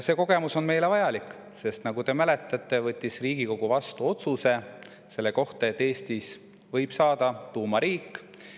See kogemus on meile vajalik, sest nagu te mäletate, võttis Riigikogu vastu otsuse selle kohta, et Eestist võib saada tuumariik.